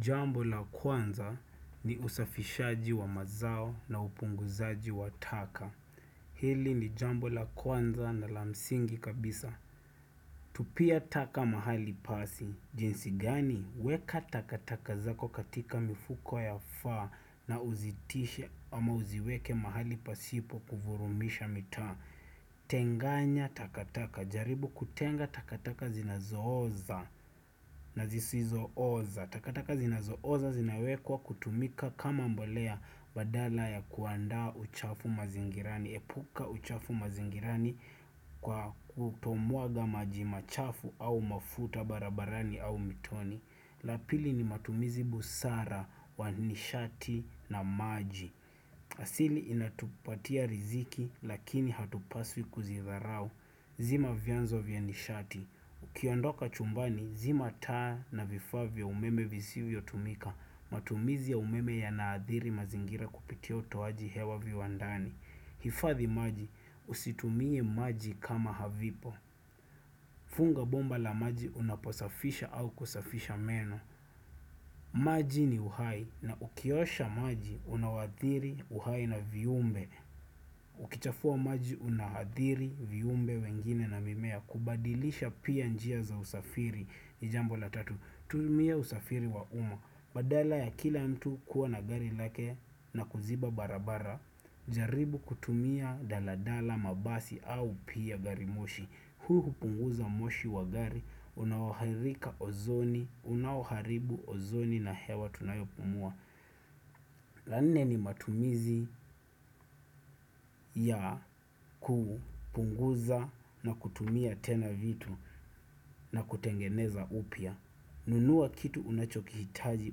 Jambo la kwanza ni usafishaji wa mazao na upunguzaji wa taka. Hili ni jambo la kwanza na la msingi kabisa. Tupia taka mahali pasi. Jinsi gani? Weka takataka zako katika mifuko ya faa na uzitishe ama uziweke mahali pasipo kuvurumisha mitaa. Tenganya takataka. Jaribu kutenga takataka zinazooza na zisizooza. Takataka zinazooza zinawekwa kutumika kama mbolea badala ya kuandaa uchafu mazingirani. Epuka uchafu mazingirani kwa kutomwaga maji machafu au mafuta barabarani au mitoni la pili ni matumizi busara wa nishati na maji asili inatupatia riziki lakini hatupaswi kuzidharau zima vyanzo vya nishati. Ukiondoka chumbani, zima taa na vifaa vya umeme visivyo tumika. Matumizi ya umeme yanaadhiri mazingira kupitia utoaji hewa viwandani hifadhi maji, usitumie maji kama havipo Funga bomba la maji unaposafisha au kusafisha meno maji ni uhai na ukiosha maji unawaadhiri uhai na viumbe Ukichafua maji unahadhiri viumbe wengine na mimea. Kubadilisha pia njia za usafiri ni jambo la tatu. Tumia usafiri wa umma, badala ya kila mtu kuwa na gari lake na kuziba barabara jaribu kutumia daladala mabasi au pia gari moshi. Huu hupunguza moshi wa gari unaohathika ozoni unaoharibu ozoni na hewa tunayopumua la nne ni matumizi ya kupunguza na kutumia tena vitu na kutengeneza upya. Nunua kitu unachokihitaji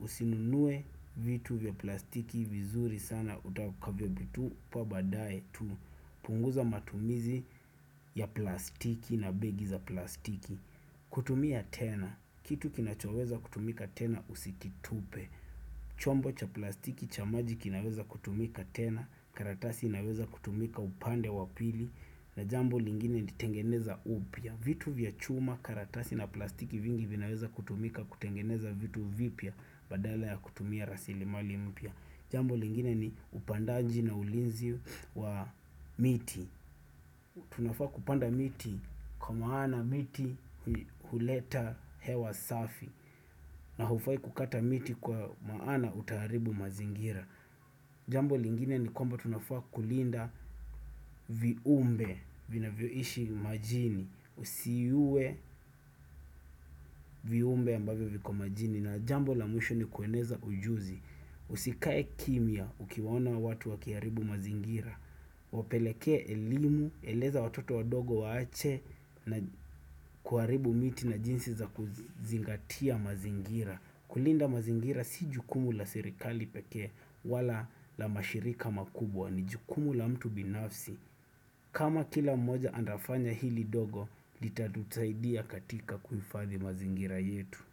usinunue vitu vya plastiki vizuri sana utakavyovitupa baadaye tu punguza matumizi ya plastiki na begi za plastiki kutumia tena. Kitu kinachoweza kutumika tena usikitupe, chombo cha plastiki cha maji kinaweza kutumika tena, karatasi inaweza kutumika upande wa pili na jambo lingine nitengeneza upya. Vitu vya chuma karatasi na plastiki vingi vinaweza kutumika kutengeneza vitu vipya badala ya kutumia rasili mali mpya. Jambo lingine ni upandaji na ulinzi wa miti Tunafaa kupanda miti kwa maana miti huleta hewa safi na hufai kukata miti kwa maana utaharibu mazingira Jambo lingine ni kwamba tunafaa kulinda viumbe vinavyoishi majini. Usiue viumbe ambavyo viko majini. Na jambo la mwisho ni kueneza ujuzi. Usikae kimya ukiwaona watu wakiharibu mazingira. Wapelekee elimu, eleza watoto wadogo waache na kuharibu miti na jinsi za kuzingatia mazingira. Kulinda mazingira si jukumu la serikali pekee wala la mashirika makubwa ni jukumu la mtu binafsi. Kama kila mmoja andafanya hili dogo litatutaidia katika kuhifadhi mazingira yetu.